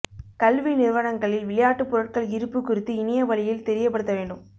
கல்வி நிறுவனங்களில் விளையாட்டுப் பொருட்கள் இருப்பு குறித்து இணைய வழியில் தெரியப்படுத்த வேண்டும்